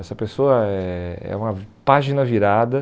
Essa pessoa é é uma página virada.